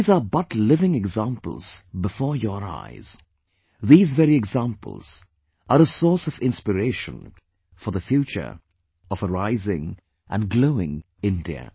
These are but living examples before your eyes... these very examples are a source of inspiration for the future of a rising & glowing India